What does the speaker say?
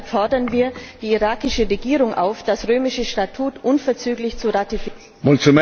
Deshalb fordern wir die irakische Regierung auf, das römische Statut unverzüglich zu ratifizieren.